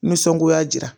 Nisɔngoya dira